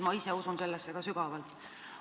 Ma ise usun sellesse ka sügavalt.